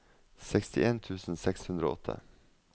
sekstien tusen seks hundre og åtte